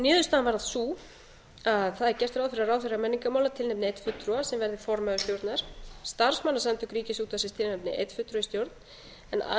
niðurstaðan varð sú að það er gert ráð fyrir að ráðherra menningarmála tilnefni einn fulltrúa sem verði formaður stjórnar starfsmannasamtök ríkisútvarpsins tilnefni einn fulltrúa í stjórn en aðrir